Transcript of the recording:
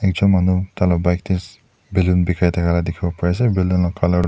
ekjun manu taila bike te balloon bikai thakia la dikhibo pari ase balloon la colour toh.